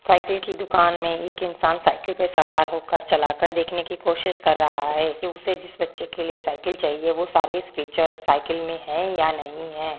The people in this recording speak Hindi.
साइकिल की दुकान में एक इंसान साइकिल पर सवार हो कर चला कर देखने की कोशिस कर रहा है की उसे जिस बच्चे के लिए साइकिल चाहिए वो सारे फीचर्स साइकिल में है या नहीं है।